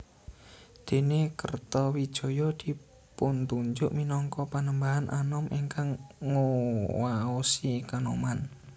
Dene Kertawijaya dipuntunjuk minangka Panembahan Anom ingkang nguwaosi Kanoman